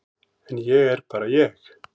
En ég er bara ég.